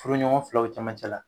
Furuɲɔgɔn filaw cɛmancɛ la